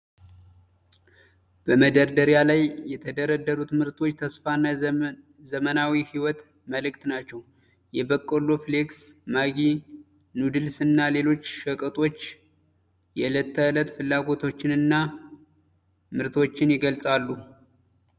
በመደርደሪያ ላይ የተደረደሩት ምርቶች የተስፋና የዘመናዊ ሕይወት ምልክት ናቸው! የበቆሎ ፍሌክስ፣ ማጊ ኑድልስ እና ሌሎች ሸቀጦች የዕለት ተዕለት ፍላጎትንና ምቾትን ይገልጻሉ።